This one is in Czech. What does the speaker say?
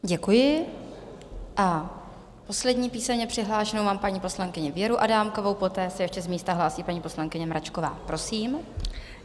Děkuji a poslední písemně přihlášenou mám paní poslankyni Věru Adámkovou, poté se ještě z místa hlásí paní poslankyně Mračková, prosím.